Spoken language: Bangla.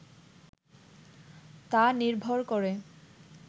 তা নির্ভর করে